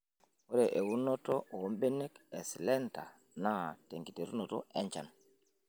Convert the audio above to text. Ore eunoto oombenek eslender naa tenkiteru enchan.